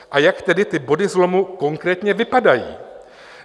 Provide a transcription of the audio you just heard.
A jak tedy ty body zlomu konkrétně vypadají?